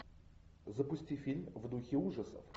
запусти фильм в духе ужасов